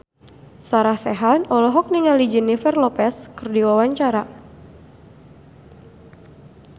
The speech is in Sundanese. Sarah Sechan olohok ningali Jennifer Lopez keur diwawancara